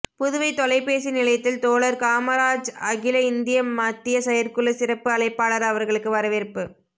புதுவை தொலை பேசி நிலையத்தில் தோழர் காமராஜ் அகில இந்திய மத்திய செயற்குழு சிறப்பு அழைப்பாளர் அவர்களுக்கு வரவேற்ப்பு